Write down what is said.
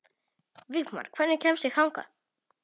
Vígmar, hvernig kemst ég þangað?